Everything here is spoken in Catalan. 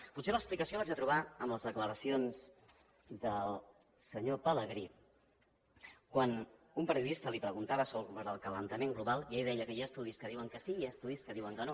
potser l’explicació l’haig de trobar en les declaracions del senyor pelegrí quan un periodista li preguntava sobre l’escalfament global i ell deia que hi ha estudis que diuen que sí i que hi ha estudis que diuen que no